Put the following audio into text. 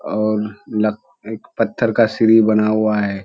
और लग एक पत्थर का सीढ़ी बना हुआ है।